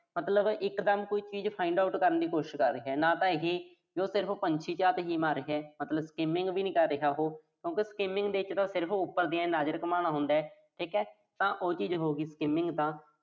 ਮਤਲਬ ਇਕਦਮ ਕੋਈ ਚੀਜ਼ find out ਕਰਨ ਦੀ ਕੋਸ਼ਿਸ਼ ਕਰ ਰਿਹਾ। ਨਾ ਤਾਂ ਇਹੇ ਵੀ ਉਹ ਸਿਰਫ਼ ਪੰਛੀ ਝਾਤ ਜੀ ਮਾਰ ਰਿਹਾ। ਮਤਲਬ skimming ਵੀ ਨੀਂ ਕਰ ਰਿਹਾ ਉਹੋ। ਕਿਉਂ ਕਿ skimming ਤਾਂ ਇੱਕ ਸਿਰਫ਼ ਉਪਰ ਦੀ ਆਏਂ ਨਜ਼ਰ ਘੁਮਾਉਣਾ ਹੁੰਦਾ। ਠੀਕਾ ਤਾਂ ਉਹ ਚੀਜ਼ ਹੋਗੀ skimming ਤਾਂ